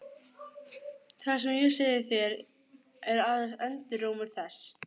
Sólborg var að kalla á hann!